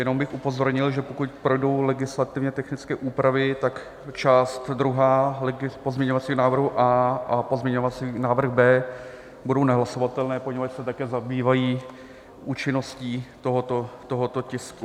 Jenom bych upozornil, že pokud projdou legislativně technické úpravy, tak část druhá pozměňovacího návrhu A a pozměňovací návrh B budou nehlasovatelné, poněvadž se také zabývají účinností tohoto tisku.